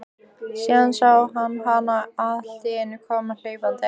Síðan sá hann hana alltíeinu koma hlaupandi.